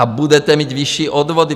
A budete mít vyšší odvody.